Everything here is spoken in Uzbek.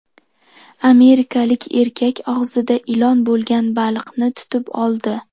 Amerikalik erkak og‘zida ilon bo‘lgan baliqni tutib oldi.